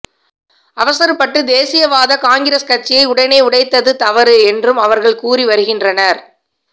அவசரப்பட்டு தேசியவாத காங்கிரஸ் கட்சியை உடனே உடைத்தது தவறு என்றும் அவர்கள் கூறி வருகின்றனர்